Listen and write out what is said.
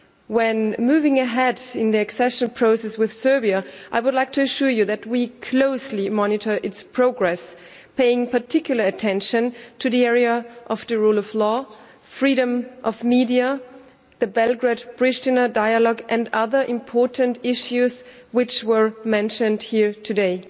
When moving ahead in the accession process with Serbia, I would like to assure you that we closely monitor its progress, paying particular attention to the area of the rule of law, freedom of the media, the Belgrade-Priština dialogue and the other important issues which were mentioned here today.